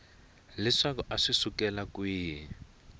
leswaku a swi sukela kwihi